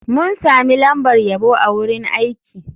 Mun sami lambar yabo a wurin aiki.